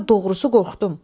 Sonra doğrusu qorxdum.